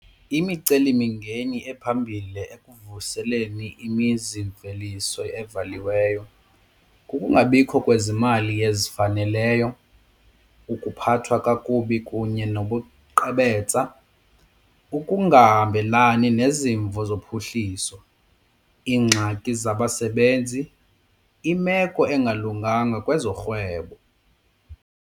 Imicelimingeni ephambili ekuvuseleni imizimveliso evaliweyo kukungabikho kwezimali ezifaneleyo, ukuphathwa kakubi kunye nobuqhebetsa, ukungahambelani nezimvo zophuhliso, iingxaki zabasebenzi, imeko engalunganga kwezorhwebo.